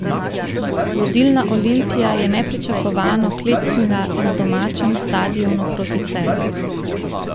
Vodilna Olimpija je nepričakovano klecnila na domačem stadionu proti Celju.